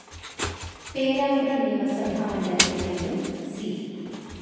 പേരാമ്പ്ര നിയമസഭാ മണ്ഡലത്തിൽ നിന്നും സി.